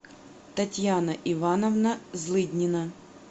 татьяна ивановна злыднина